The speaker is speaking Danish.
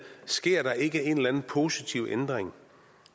sker der ikke en eller anden positiv ændring